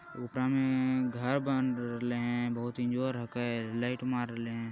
उपरा मे घर बन रहले हैं बहुत इंजोर होक लाइट मार रहले हैं ।